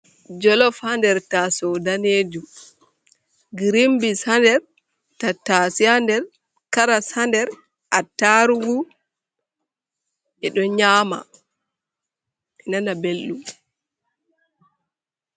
Jolof haa nder taaso danejum grimbi’s ha nder tattasai ha nder karas hander, attarugu ɓe ɗo nyama nana belɗum.